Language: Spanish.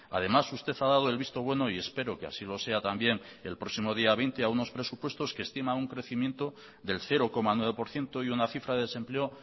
además usted ha dado el visto bueno y espero que así lo sea también el próximo día veinte a unos presupuestos que estima un crecimiento del cero coma nueve por ciento y una cifra de desempleo